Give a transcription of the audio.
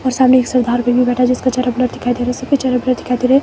और सामने एक सरदार भी बैठा है जिसका चेहरा ब्लर दिखाई दे रा है सबके चेहरा ब्लर दिखाई दे रे हैं।